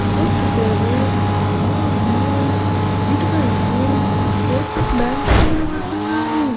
ఆ కొట్టు పేరు శ్రావణి ఇటువైపు కోటక్ బ్యాంక్ అని కనపడతాంది .